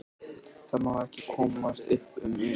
Það má ekki komast upp um mig.